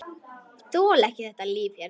Þoli ekki þetta líf hérna.